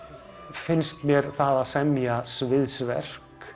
finnst mér það að semja